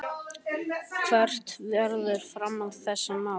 Höskuldur Kári: Hvert verður framhald þessa máls?